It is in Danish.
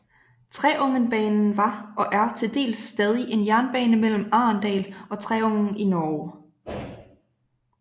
Treungenbanen var og er til dels stadig en jernbane mellem Arendal og Treungen i Norge